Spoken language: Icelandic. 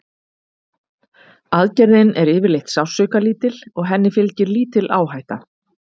Aðgerðin er yfirleitt sársaukalítil og henni fylgir lítil áhætta.